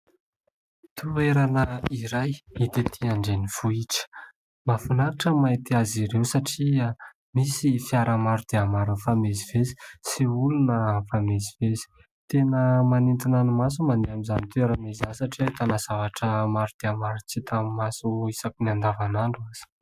Toerana iray hita ety andrenivohitra. Mahafinaritra ny mahita azy ireo satria misy fiara maro dia maro mifamezivezy sy olona mifamezivezy. Tena manintona ny maso ny mandeha amin'izany toerana izany satria ahitana zavatra maro dia maro tsy hitan'ny maso isaky ny an-davan'andro aza.